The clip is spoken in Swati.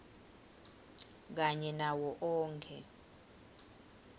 kanye nawo onkhe